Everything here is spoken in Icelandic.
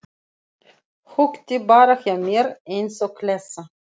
Húkti bara hjá mér eins og klessa.